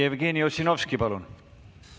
Jevgeni Ossinovski, palun!